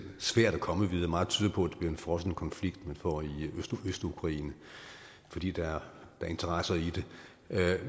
svært at komme videre meget tyder på at det bliver en frossen konflikt man får i østukraine fordi der er interesser i det